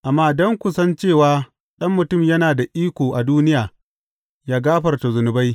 Amma don ku san cewa Ɗan Mutum yana da iko a duniya yă gafarta zunubai.